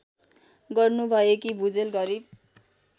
गर्नुभएकी Bhujel Garib